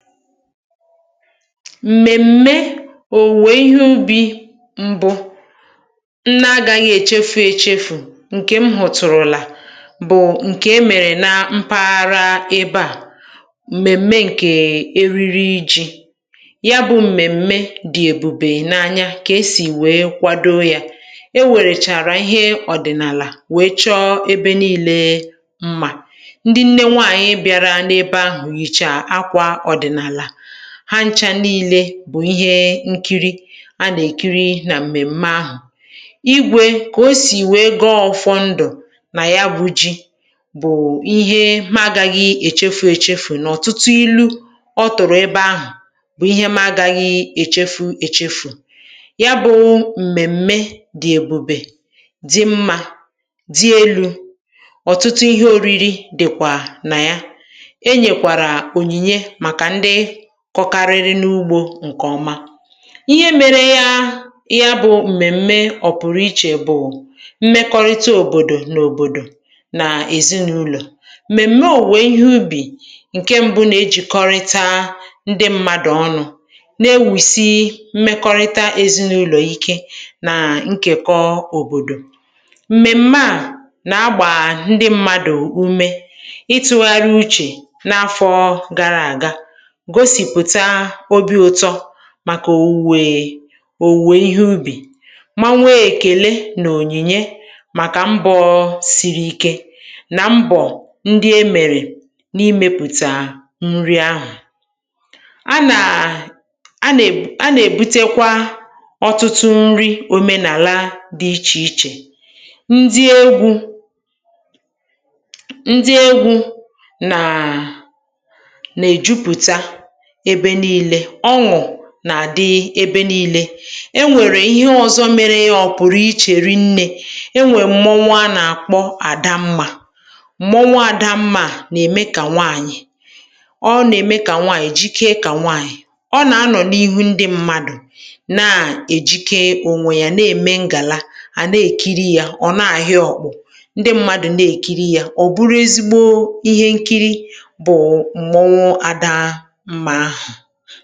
M̀mèm̀me òwuwe ihé ubi̇ mbụ nná gȧghị̇ èchefu̇ èchefu̇ ǹke m hụ̀ tụ̀rụ̀là bụ̀ ǹke e mèrè ná mpaghara ebe à m̀mèm̀me ǹkè um e riri ji̇ yá bụ̇ m̀mèm̀me dị̀ èbùbè n’anya kà e sì wèe kwado yȧ e wèrèchàrà ihé ọ̀dị̀nàlà wèe chọọ ebe niilė mmà ndị nne nwaànyị̀ bịara n’ebe ahụ̀ yichaa àkwà odinala há ncha niilė bụ̀ ihé nkiri, a nà-èkiri nà m̀mèm̀me ahụ̀. Igwė, kà o sì wèe goọ ọ̇fọndụ̀ nà yá bụ ji bụ̀ ihé mụ agȧghị̇ èchefu èchefu n’ọ̀tụtụ ilu ọ tụ̀rụ̀ ebe ahụ̀ bụ̀ ihé ma agȧghị̇ èchefu èchefu yá bụ̇ m̀mèm̀me dị èbùbè, dị mmȧ, dị elu̇, ọ̀tụtụ ihé oriri dị̀kwà nà yá. Enyé kwàra onyinyé màkà ndị kọ̀karịrị n’ugbȯ ǹkè ọma. Ihé mèrè yá yá bụ m̀mèm̀me ọpụ̀rụ̀ ichè bụ̀ mmekọrịta òbòdò nà òbòdò nà èzinụlọ̀. M̀mèm̀me òwuwe ihé ubì ǹke mbụ na ejìkọrịta ndị mmadụ̀ ọnụ̇ na-ewùsi mmekọrịta ezinụlọ̀ ike nà ǹkèkọ òbòdò m̀mèm̀mè a nà agbà ndị mmadụ̀ umė ịtụ̇gharị uchè n’afọ̇ gàrà àga, gosi pụta óbì ụtọ màkà òwuwè òwuwè ihé ubì mà nwee ekèle nà ònyìnye màkà mbọ̀ọ siri ike nà mbọ̀ ndị e mèrè n’imėpùtà nri ahụ̀ a nà um a nà e a nà èbutakwa ọtụtụ nri òmenàla dị ichè ichè, ndị egwu ndị egwu nàa na ejuputa ebe nii̇lė, ọṅụ̀ nà-àdị ébé nii̇lė, e nwèrè ihé ọ̇zọ̇ mere yá ọ̇pụ̀rụ̀ ichè ri̇ nnė e nwè mmọnwu a nà-àkpọ àda mmȧ, mmọnwu àda mmȧ à nà-ème kà nwaànyị̀ ọ nà-ème kà nwaànyị̀ jikee kà nwaànyị̀ ọ nà-anọ̀ n’ihu ndị mmadụ̀ na-èjikee ònwè yà na-ème ngàla à na-èkiri yȧ, ọ̀ na-àhị ọ̀kpụ̇ ndị mmadụ̀ na-èkiri yȧ, ọ̀ bụrụ ezigbo ihé nkiri bụ̀ mmọnwụ ada mmá áhụ.